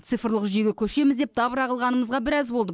цифрлық жүйеге көшеміз деп дабыра қылғанымызға біраз болды